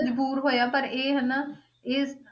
ਮਜ਼ਬੂਰ ਹੋਇਆ ਪਰ ਇਹ ਹਨਾ ਇਹ,